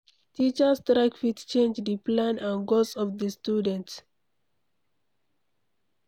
Teachers strike fit change di plan and goals of di student